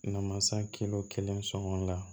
Namasa kelen sɔngɔ la